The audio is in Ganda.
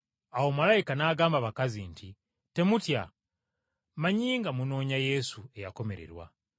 Awo malayika n’agamba abakazi nti, “Temutya. Mmanyi nga munoonya Yesu, eyakomererwa,